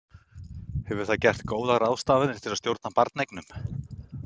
Hefur það gert góðar ráðstafanir til að stjórna barneignum?